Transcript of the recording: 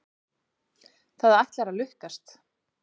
Það ætlar að lukkast.